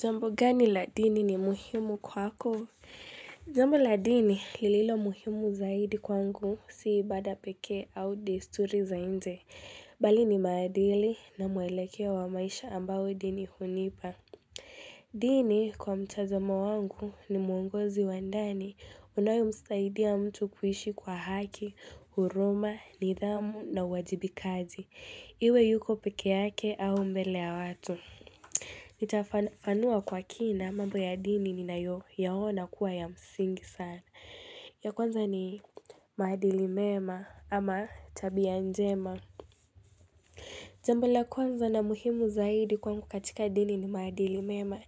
Jambo gani la dini ni muhimu kwako? Jambo la dini lililo muhimu zaidi kwangu si ibada pekee au desturi za nje. Bali ni maadili na muelekeo wa maisha ambao dini hunipa. Dini, kwa mtazamo wangu ni mwongozi wa ndani. Unayomsaidia mtu kuishi kwa haki, huruma, nidhamu na uwajibikaji. Iwe yuko peke yake au mbele ya watu. Nitafafanua kwa kina mambo ya dini ninayoyaona kuwa ya msingi sana. Ya kwanza ni maadili mema ama tabia njema. Jambo la kwanza na muhimu zaidi kwangu katika dini ni maadili mema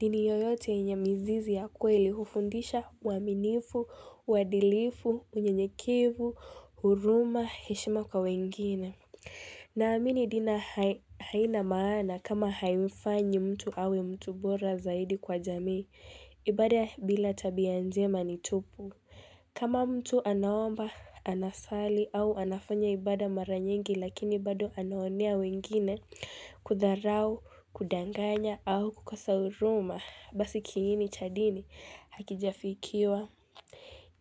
Dini yoyote yenye mizizi ya kweli hufundisha uaminifu, uadilifu, unyenyekevu, huruma, heshima kwa wengine Naamini dini haina maana kama haimfanyi mtu awe mtu bora zaidi kwa jamii, ibada bila tabia njema ni tupu. Kama mtu anaomba, anasali au anafanya ibada mara nyingi lakini bado anaonea wengine, kudharau, kudanganya au kukosa huruma, basi kiini cha dini hakijafikiwa.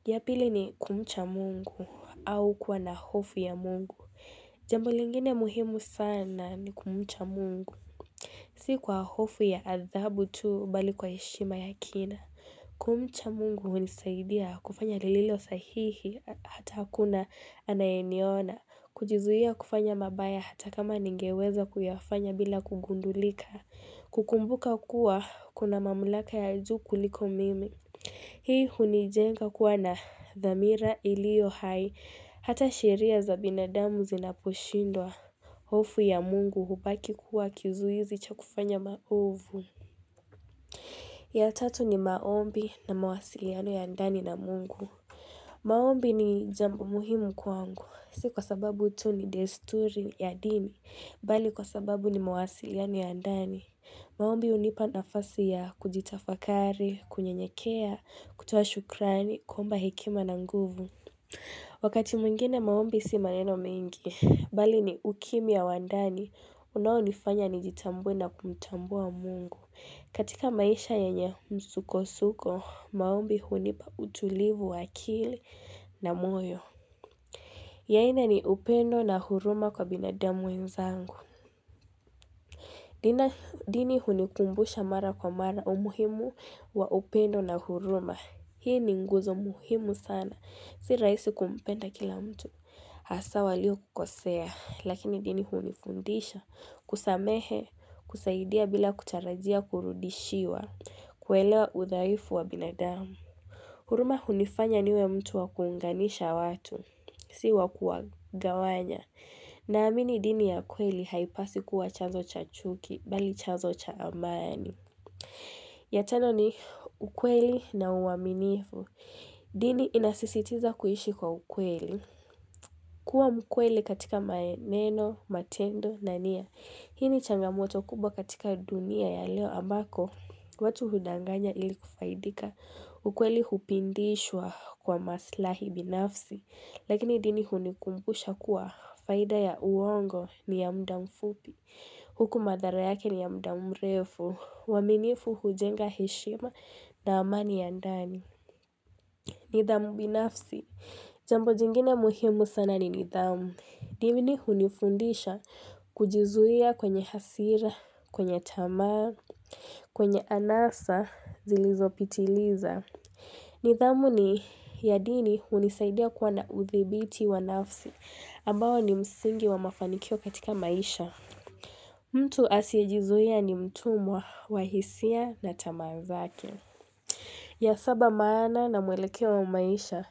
Ya pili ni kumcha Mungu au kuwa na hofu ya Mungu. Jambo lingine muhimu sana ni kumcha Mungu. Si kwa hofu ya adhabu tuu bali kwa heshima ya kina. Kumcha Mungu hunisaidia kufanya lililo sahihi hata hakuna anayeniona. Kujizuia kufanya mabaya hata kama ningeweza kuyafanya bila kugundulika. Kukumbuka kuwa kuna mamlaka ya juu kuliko mimi. Hii hunijenga kuwa na dhamira iliyo hai, hata sheria za binadamu zinaposhindwa, hofu ya Mungu hubaki kuwa kizuizi cha kufanya maovu. Ya tatu ni maombi na mawasiliano ya ndani na Mungu. Maombi ni jambo muhimu kwangu, si kwa sababu tu ni desturi ya dini, bali kwa sababu ni mawasiliano ya ndani. Maombi hunipa nafasi ya kujitafakari, kunyenyekea, kutoa shukrani, kuomba hekima na nguvu. Wakati mwingine maombi si maneno mengi, bali ni ukimya wa ndani, unayonifanya nijitambue na kumtambua Mungu. Katika maisha yenye msukosuko, maombi hunipa utulivu wa akili na moyo. Ni aina ni upendo na huruma kwa binadamu wenzangu. Dina, dini hunikumbusha mara kwa mara umuhimu wa upendo na huruma. Hii ni nguzo muhimu sana. Si raisi kumpenda kila mtu. Hasa waliokukosea, lakini dini hunifundisha. Kusamehe, kusaidia bila kutarajia kurudishiwa. Kuelewa udhaifu wa binadamu. Huruma hunifanya niwe mtu wakuunganisha watu. Si wa kuwagawanya. Naamini dini ya kweli haipaswi kuwa chazo cha chuki. Bali chazo cha amani. Ya tano ni ukweli na uwaminifu. Dini inasisitiza kuishi kwa ukweli. Kuwa mkweli katika maneno, matendo na nia. Hii ni changamoto kubwa katika dunia ya leo ambako. Watu hudanganya ili kufaidika. Ukweli hupindishwa kwa maslahi binafsi. Lakini dini hunikumbusha kuwa faida ya uongo ni ya muda mfupi. Huku madhara yake ni ya muda mrefu. Uaminifu hujenga heshima na amani ya ndani. Nidhamu binafsi, jambo jingine muhimu sana ni nidhamu. Dini hunifundisha kujizuia kwenye hasira, kwenye tamaa, kwenye anasa zilizopitiliza. Nidhamu ni ya dini hunisaidia kuwa na uthibiti wa nafsi, ambao ni msingi wa mafanikio katika maisha. Mtu asiyejizuia ni mtumwa, wa hisia na tamaa zake. Ya saba, maana na mwelekeo wa maisha.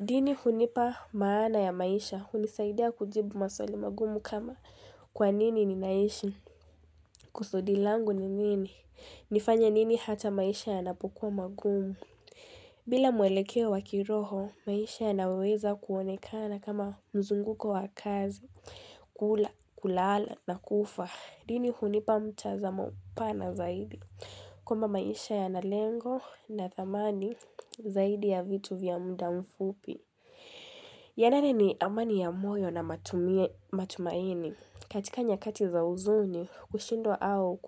Dini hunipa maana ya maisha, hunisaidia kujibu maswali magumu kama kwa nini ninaishi, kusudi langu ni nini, nifanye nini hata maisha yanapokuwa magumu. Bila mwelekeo wa kiroho, maisha yanaweza kuonekana kama mzunguko wa kazi, kula, kulala na kufa. Dini hunipa mtazamo pana zaidi. Kwamba maisha yana lengo na thamani zaidi ya vitu vya muda mfupi. Ya nane ni amani ya moyo na matumaini. Katika nyakati za huzuni, hushindwa au ku.